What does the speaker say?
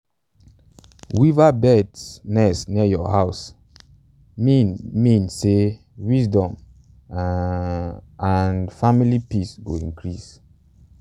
um weaverbird's nest near your house mean mean say wisdom and um family peace go increase.